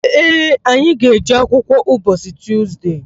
Ee, anyị ga-eje akwụkwọ ụbọchị Tuzde.